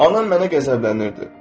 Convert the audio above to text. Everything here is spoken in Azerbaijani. Anam mənə qəzəblənirdi.